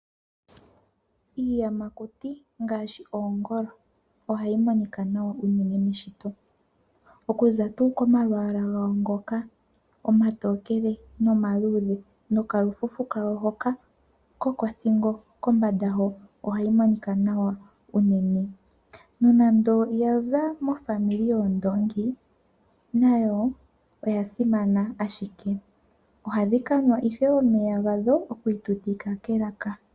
Iiyamakuti ngaashi oongolo ohayi monika nawa unene meshito okuza tuu komalwaala gawo ngoka omatokele nomaluudhe nokalufufu kawo hoka kokothingo kombanda ho ohayi monika nawa unene. Nonando oya za mezimo lyoondoongi nayo oya simana ashike. Ohadhi ka nwa ihe omeya gadho oku itutika kelaka.